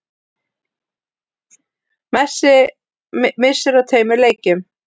Messi missir af tveimur leikjum